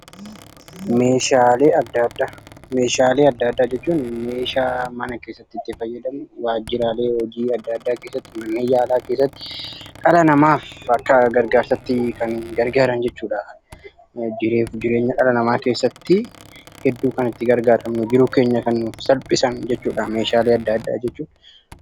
Meeshaalee addaa addaa jechuun meeshaalee mana keessatti, waajjiraalee hojii adda addaa keessatti, mana yaalaa keessatti dhala namaaf akka gargaarsaatti kan gargaaran jechuudha. Jireenya dhala namaa keessatti hedduu kan itti gargaa ramnuu fi jiruu keenya kan nuuf salphisanidha.